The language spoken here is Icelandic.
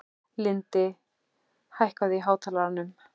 Lindi, hækkaðu í hátalaranum.